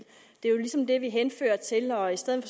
det er ligesom det vi henfører til og i stedet